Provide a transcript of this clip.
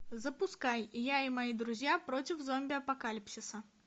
запускай я и мои друзья против зомби апокалипсиса